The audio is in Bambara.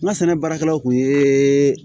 N ka sɛnɛ baarakɛlaw kun ye